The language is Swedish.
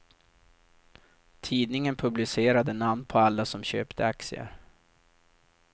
Tidningen publicerade namn på alla som köpte aktier.